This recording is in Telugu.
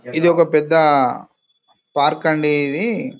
ఇది ఒక పెద్ద పార్క్ అండి ఇది --